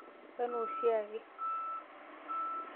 Enaa oshiake.